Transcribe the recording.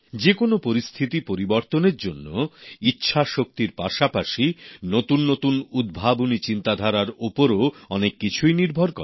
যে কোনও পরিস্থিতি পরিবর্তনের জন্য ইচ্ছাশক্তির পাশাপাশি নতুন নতুন উদ্ভাবনী চিন্তাধারার ওপরও অনেক কিছুই নির্ভর করে